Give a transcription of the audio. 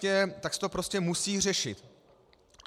Tak se to prostě musí řešit.